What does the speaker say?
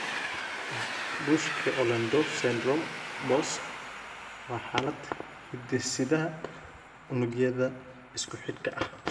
Buschke Ollendorff syndrome (BOS) waa xaalad hidde-sidaha unugyada isku-xidhka ah.